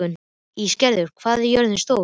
Ísgerður, hvað er jörðin stór?